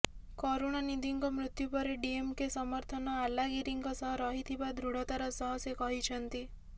କରୁଣାନିଧିଙ୍କ ମୃତ୍ୟୁ ପରେ ଡିଏମ୍କେ ସମର୍ଥନ ଆଲାଗିରିଙ୍କ ସହ ରହିଥିବା ଦୃଢତାର ସହ ସେ କହିଛନ୍ତି